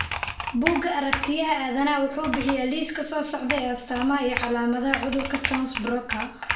Bugga Aargtiyaha Aadanaha wuxuu bixiyaa liiska soo socda ee astamaha iyo calaamadaha cudurka Townes Brocka.